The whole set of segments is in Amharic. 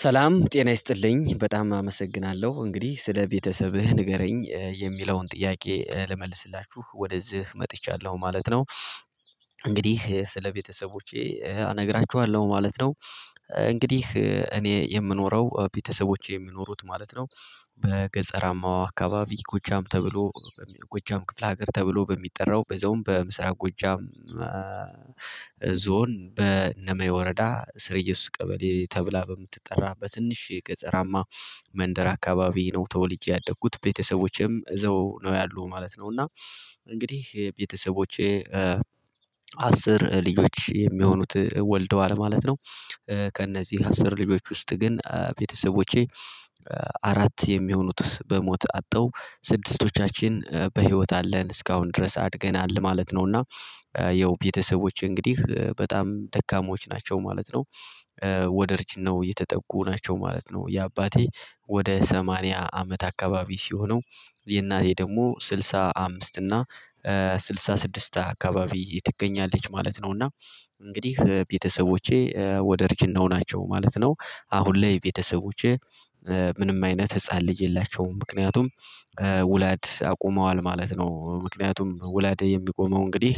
ሰላም ጤና ይስጥልኝ በጣም አመሰግናለሁ እንግዲህ ስለ ቤተሰብህ ንገረኝ የሚለውን ጥያቄ ልመልስላችሁ ወደዚህ መጥቻለሁ ማለት ነው። እንግዲህ ስለ ቤተሰቦቼ እነግራችኋለሁ ማለት ነው። እንግዲህ እኔ የምኖረው ቤተሰቦቼ የሚኖሩት ማለት ነው። በገጸራማዋ አካባቢ ጎጃም ተብሎ ጎጃም ክፍለ ሀገር ተብሎ በሚጠራው በዛውም በምስራቅ ጉጃም። ዞን በነመይ ወረዳ ስርየሱ ቀበሌ ተብላ በምትጠራ በትንሽ ገጠራማ መንደር አካባቢ ነው ተወልጄ ያደጉት ቤተሰቦቼም እዘው ነው ያሉት ማለት ነው። እና እንግዲህ የቤተሰቦቼ አስር ልጆች የሚሆኑት ወልደዋል ማለት ነው። ከእነዚህ አስር ልጆች ውስጥ ግን ቤተሰቦቼ አራት የሚሆኑት በሞት አጠው ስድስቶቻችን በህይወት አለን እስካሁን ድረስ አድገናል ማለት ነው። እና ያው ቤተሰቦች እንግዲህ በጣም ደካሞች ናቸው ማለት ነው። ወደ እርጅናው የተጠጉ ናቸው ማለት ነው። የአባቴ ወደ ሰማንያ አመት አካባቢ ሲሆነው የእናቴ ደግሞ ስድሳ አምስት እና ስድሳ ስድስት አካባቢ ትገኛለች ማለት ነው። እና እንግዲህ ቤተሰቦቼ ወደ እርጅናው ናቸው ማለት ነው። አሁን ላይ ቤተሰቦቼ ምንም አይነት ህፃን ልጅ የላቸውም ምክንያቱም ውላድ አቁመዋል ማለት ነው። ምክንያቱም ውላድ የሚቆመው እንግዲህ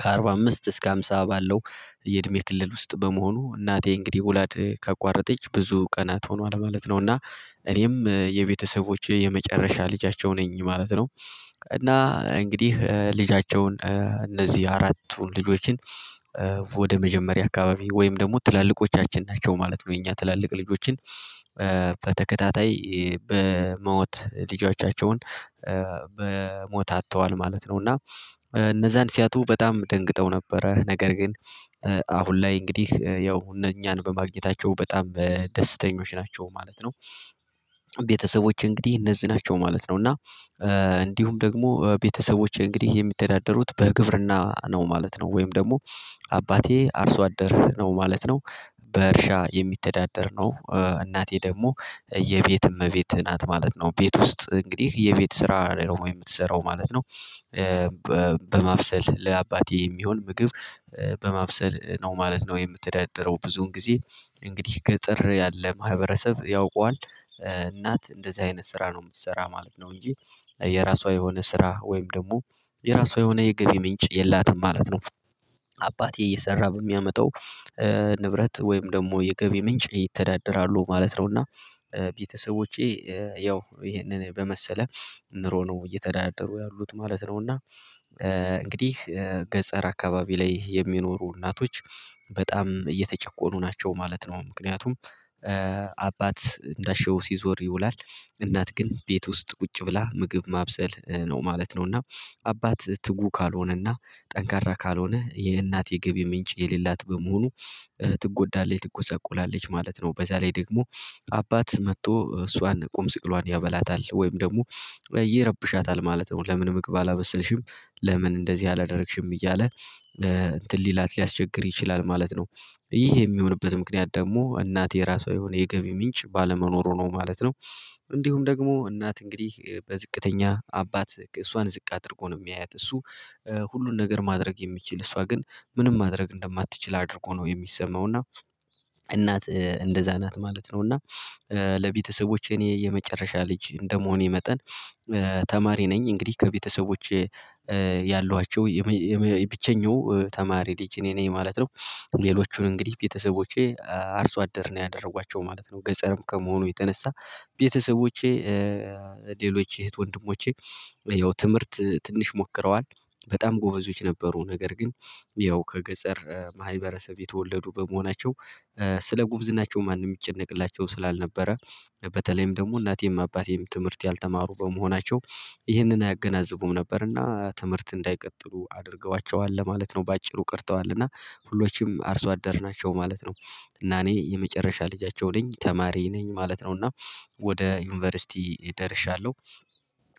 ከአርባ አምስት እስከ አምሳ ባለው የእድሜ ክልል ውስጥ በመሆኑ እናቴ እንግዲህ ወላድ ካቋረጠች ብዙ ቀናት ሆኗል ማለት ነው። እና እኔም የቤተሰቦቼ የመጨረሻ ልጃቸው ነኝ ማለት ነው። እና እንግዲህ ልጃቸውን እነዚህ አራቱን ልጆችን ወደ መጀመሪያ አካባቢ ወይም ደግሞ ትላልቆቻችን ናቸው ማለት ነው የኛ ትላልቅ ልጆችን በተከታታይ በሞት ልጆቻቸውን በሞት አጥተዋል ማለት ነው። እና እነዛን ሲያጡ በጣም ደንግጠው ነበረ ነገር ግን አሁን ላይ እንግዲህ ያው እኛን በማግኘታቸው በጣም ደስተኞች ናቸው ማለት ነው። ቤተሰቦች እንግዲህ እነዚህ ናቸው ማለት ነው። እና እንዲሁም ደግሞ ቤተሰቦቼ እንግዲህ የሚተዳደሩት በግብርና ነው ማለት ነው። ወይም ደግሞ አባቴ አርሶ አደር ነው ማለት ነው። በእርሻ የሚተዳደር ነው እናቴ ደግሞ የቤት እመቤት ናት ማለት ነው ቤት ውስጥ እንግዲህ የቤት ስራ ላይ ነው የምትሰራው ማለት ነው። በማብሰል ለአባቴ የሚሆን ምግብ በማብሰል ነው ማለት ነው የምትዳደረው ብዙን ጊዜ እንግዲህ ገጠር ያለ ማህበረሰብ ያውቀዋል እናት እንደዚህ አይነት ስራ ነው የምትሰራ ማለት ነው። እንጂ የራሷ የሆነ ስራ ወይም ደግሞ የራሷ የሆነ የገቢ ምንጭ የላትም ማለት ነው። አባቴ እየሰራ በሚያመጣው ንብረት ወይም ደግሞ የገቢ ምንጭ ይተዳደራሉ ማለት ነውና ቤተሰቦቼ ያው ይሄንን በመሰለ ኑሮ ነው እየተዳደሩ ያሉት ማለት ነው። እና እንግዲህ ገጠር አካባቢ ላይ የሚኖሩ እናቶች በጣም እየተጨቆኑ ናቸው ማለት ነው። ምክንያቱም አባት እንዳሻው ሲዞር ይውላል እናት ግን ቤት ውስጥ ቁጭ ብላ ምግብ ማብሰል ነው ማለት ነው። እና አባት ትጉ ካልሆነና ጠንካራ ካልሆነ የእናት የገቢ ምንጭ የሌላት በመሆኑ ትጎዳለች ትጎሰቁላለች ማለት ነው። በዛ ላይ ደግሞ አባት መጥቶ እሷን ቁም ስቅሏን ያበላታል ወይም ደግሞ ይረብሻታል ማለት ነው። ለምን ምግብ አላበሰልሽም? ለምን እንደዚህ አላደረግሽም? እያለ እንትን ሊላት ሊያስቸግር ይችላል ማለት ነው። ይህ የሚሆንበት ምክንያት ደግሞ እናት የራሷ የሆነ የገቢ ምንጭ ባለመኖሩ ነው ማለት ነው። እንዲሁም ደግሞ እናት እንግዲህ በዝቅተኛ አባት እሷን ዝቅ አድርጎ ነው የሚያያት እሱ ሁሉን ነገር ማድረግ የሚችል እሷ ግን ምንም ማድረግ እንደማትችል አድርጎ ነው የሚሰማው እና እናት እንደዛ ናት ማለት ነው። እና ለቤተሰቦቼ እኔ የመጨረሻ ልጅ እንደመሆኔ መጠን ተማሪ ነኝ እንግዲህ ከቤተሰቦቼ ያሏቸው የብቸኛው ተማሪ ልጅ እኔ ነኝ ማለት ነው። ሌሎቹን እንግዲህ ቤተሰቦቼ አርሶ አደር ነው ያደረጓቸው ማለት ነው። ገጠርም ከመሆኑ የተነሳ ቤተሰቦቼ ሌሎች እህት ወንድሞቼ ያው ትምህርት ትንሽ ሞክረዋል በጣም ጎበዞች ነበሩ ነገር ግን ያው ከገጠር ማህበረሰብ የተወለዱ በመሆናቸው ስለ ጉብዝናቸው ማንም ይጨነቅላቸው ስላልነበረ በተለይም ደግሞ እናቴም አባቴም ትምህርት ያልተማሩ በመሆናቸው ይህንን አያገናዝቡም ነበርና ትምህርት እንዳይቀጥሉ አድርገዋቸዋል ለማለት ነው። በአጭሩ ቀርተዋል እና ሁሎችም አርሶ አደርናቸው ማለት ነው። እና እኔ የመጨረሻ ልጃቸው ነኝ ተማሪ ነኝ ማለት ነው። እና ወደ ዩኒቨርሲቲ ደርሻለሁ።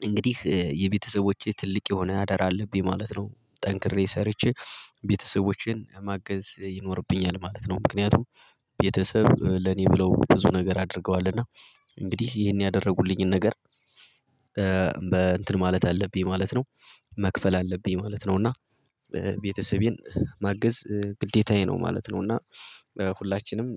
እንግዲህ የቤተሰቦቼ ትልቅ የሆነ አደራ አለብኝ ማለት ነው። ጠንክሬ ሰርቼ ቤተሰቦቼን ማገዝ ይኖርብኛል ማለት ነው። ምክንያቱም ቤተሰብ ለኔ ብለው ብዙ ነገር አድርገዋል እና እንግዲህ ይሄን ያደረጉልኝን ነገር በ እንትን ማለት አለብኝ ማለት ነው። መክፈል አለብኝ ማለት ነው። እና ቤተሰቤን ማገዝ ግዴታዬ ነው ማለት ነው። እና ሁላችንም